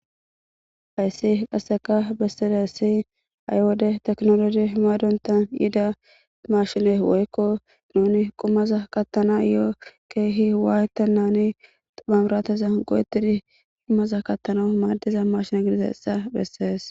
Hayssi qasseka bessida issi ha wode ehido teknolosi himaadonta yida marshine woykko nuni qumaza kattanayo keehi waayta nuuni xupamrateza go'etidi qumaza kattana maaddiza marshina gidiza essa bessees.